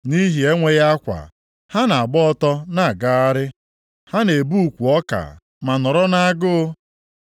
Nʼihi enweghị akwa ha na-agba ọtọ na-agagharị, ha na-ebu ukwu ọka ma nọrọ nʼagụụ.